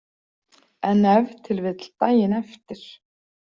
En ef til vill daginn eftir.